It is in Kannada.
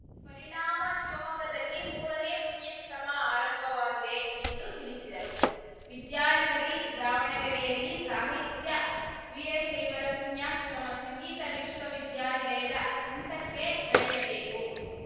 ಪರಿಣಾಮ ಶಿವಮೊಗ್ಗದಲ್ಲಿ ಮೂರನೇ ಪುಣ್ಯಶ್ರಮ ಆರಂಭವಾಗಿದೆ ಎಂದು ತಿಳಿಸಿದರು ವಿದ್ಯಾನಗರಿ ದಾವಣಗೆರೆಯಲ್ಲಿ ಸಾಹಿತ್ಯ ವೀರಶೈವರ ಪುಣ್ಯಾಶ್ರಮ ಸಂಗೀತ ವಿಶ್ವ ವಿದ್ಯಾನಿಲಯದ ಹಂತಕ್ಕೆ ಬೆಳೆಯಬೇಕು